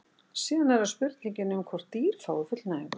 síðan er það spurningin um hvort dýr fái fullnægingu